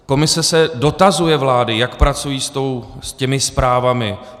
Komise se dotazuje vlády, jak pracují s těmi zprávami.